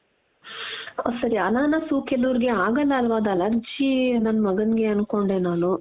ಆ ಸರಿ ಅನಾನಸ್ಸು ಕೆಲವರಿಗೆ ಆಗಲ್ಲ ಅಲ್ವಾ ಅದು ಅಲರ್ಜಿ ನನ್ ಮಗನಿಗೆ ಅನ್ಕೊಂಡೆ ನಾನು.